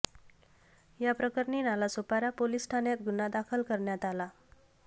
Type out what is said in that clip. या प्रकरणी नालासोपारा पोलीस ठाण्यात गुन्हा दाखल करण्यात आला